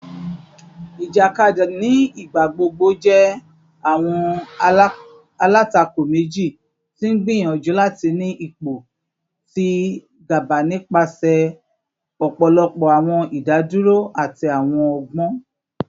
Ijakadi ni igbagbogbo jẹ awọn alatako meji ti n gbiyanju lati ni ipo ti gaba nipasẹ ọpọlọpọ awọn idaduro ati awọn ọgbọn